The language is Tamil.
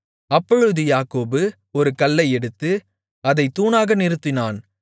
அப்பொழுது யாக்கோபு ஒரு கல்லை எடுத்து அதைத் தூணாக நிறுத்தினான்